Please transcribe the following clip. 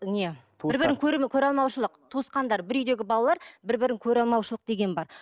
не бір бірін көреалмаушылық туысқандар бір үйдегі балалар бір бірін көреалмаушылық деген бар